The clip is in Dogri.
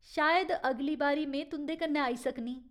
शायद अगली बारी में तुं'दे कन्नै आई सकनीं ?